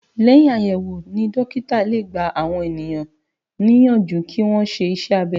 Lẹ́yìn àyẹ̀wò ni dókítà lè gbà àwọn ènìyàn níyànjú kí wọn ṣe iṣẹ́ abẹ